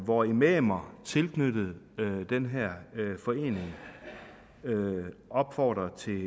hvor imamer tilknyttet den her forening opfordrer til